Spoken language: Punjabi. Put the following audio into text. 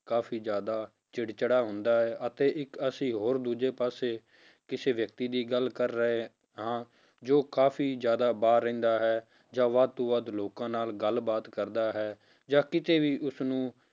ਕਾਫ਼ੀ ਜ਼ਿਆਦਾ ਚਿੜ ਚਿੜਾ ਹੁੰਦਾ ਹੈ, ਅਤੇ ਇੱਕ ਅਸੀਂ ਹੋਰ ਦੂਜੇ ਪਾਸੇ ਕਿਸੇ ਵਿਅਕਤੀ ਦੀ ਗੱਲ ਕਰ ਰਹੇ ਹਾਂ ਜੋ ਕਾਫ਼ੀ ਜ਼ਿਆਦਾ ਬਾਹਰ ਰਹਿੰਦਾ ਹੈ ਜਾਂ ਵੱਧ ਤੋਂ ਵੱਧ ਲੋਕਾਂ ਨਾਲ ਗੱਲਬਾਤ ਕਰਦਾ ਹੈ, ਜਾਂ ਕਿਤੇ ਵੀ ਉਸਨੂੰ